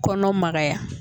Kɔnɔ magaya